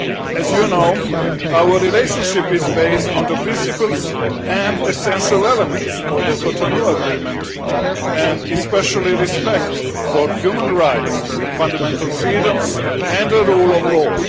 As you know, our relationship is based on the principles and essential elements of the Cotonou Agreement and especially respect for human rights, fundamental freedoms and the rule of law.